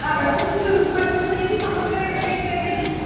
ରୁପା ଦିଦି ହରିକା ବି ସମସ୍ତେ ସେଇ train ରେ ଯିବେ?